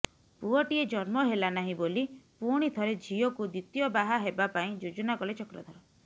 ପୁଅଟିଏ ଜନ୍ମ ହେଲାନାହିଁ ବୋଲି ପୁଣି ଜଣେ ଝିଅକୁ ଦ୍ୱିତୀୟ ବାହା ହେବା ପାଇଁ ଯୋଜନା କଲେ ଚକ୍ରଧର